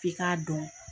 F'i k'a dɔn